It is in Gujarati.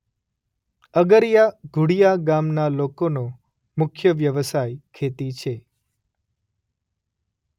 અગરીયા ઘુડિયા ગામના લોકોનો મુખ્ય વ્યવસાય ખેતી છે.